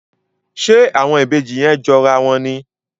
Ṣe àwọn Ìbejì yén jọ rà wón ní?